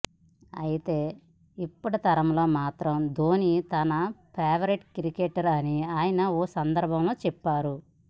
అయితే ఇప్పటి తరంలో మాత్రం ధోనీ తన ఫేవరెట్ క్రికెటర్ అని ఆయన ఓ సందర్భంలో చెప్పారు